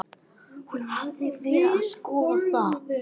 Hún hafði verið að skoða það.